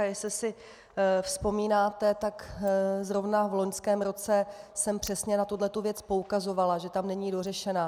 A jestli si vzpomínáte, tak zrovna v loňském roce jsem přesně na tuto věc poukazovala, že tam není dořešená.